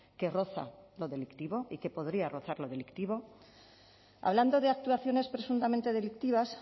que roza lo delictivo y que podría rozar lo delictivo hablando de actuaciones presuntamente delictivas